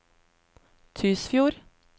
Tysfjord